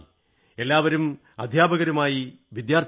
എല്ലാവരും അധ്യാപകരുമായി വിദ്യാർഥികളുമായി